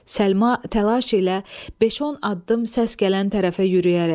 Səlma təlaş ilə beş-on addım səs gələn tərəfə yürüyərək.